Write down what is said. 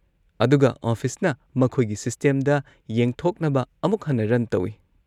ꯑꯗꯨꯒ ꯑꯣꯐꯤꯁꯅ ꯃꯈꯣꯏꯒꯤ ꯁꯤꯁꯇꯦꯝꯗ ꯌꯦꯡꯊꯣꯛꯅꯕ ꯑꯃꯨꯛ ꯍꯟꯅ ꯔꯟ ꯇꯧꯏ꯫